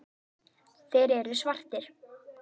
Þeir eru svartir.